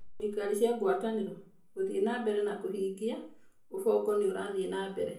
Thirikari cia ngwatanĩro: Gũthiĩ na mbere kwa kũhingia: Ubongo nĩ ũrathiĩ na mbere